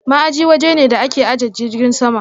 Ma'aji waje ne da ake ajiye jirgin sama.